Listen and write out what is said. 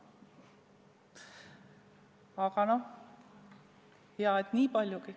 Aga hea, et niigi palju.